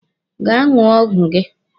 Gaa ṅụọ ọgwụ gị!